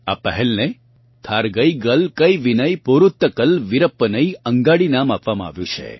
આ પહેલને થારગઇગલ કઇવિનઈ પોરુત્તકલ વિરપ્પનઈ અંગાડી નામ આપવામાં આવ્યું છે